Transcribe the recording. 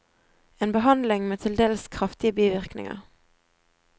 En behandling med til dels kraftige bivirkninger.